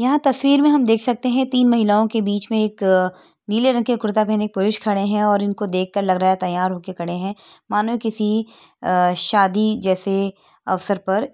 यहाँ तस्वीर में हम देख सकते हैं तीन महिलाओं के बीच में एक नीले रंग के कुरता पहने एक पुरुष खड़े हैं और इनको देख कर लग रहा ह तैयार हो कर खड़े हैं मानो किसी शादी जैसे अवसर पर